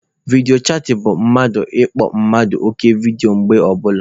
Vidiyo chatịn bụ mmadụ ịkpọ mmadụ oku vidiyo mgbe ọbụla.